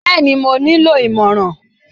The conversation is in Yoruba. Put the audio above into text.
Bẹ́ẹ̀ni, mo nílò ìmọ̀ràn.